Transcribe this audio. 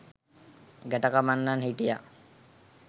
ගැටකපන්නන් හිටියා.